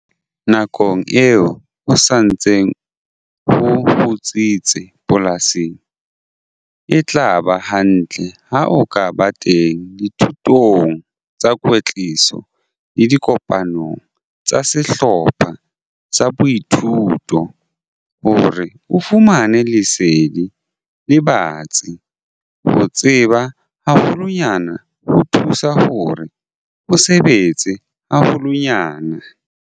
Nakong eo ho sa ntseng ho kgutsitse polasing, e tla ba hantle ha o ka ba teng dithutong tsa kwetliso le dikopanong tsa sehlopha sa boithuto hore o fumane lesedi le batsi - ho tseba haholwanyane ho thusa hore o sebetse haholwanyane!